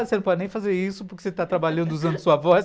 Você não pode nem fazer isso, porque você está trabalhando usando sua voz.